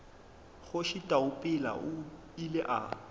kgoši taupela o ile a